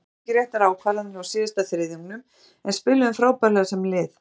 Við tókum ekki réttar ákvarðanir á síðasta þriðjungnum en spiluðum frábærlega sem lið.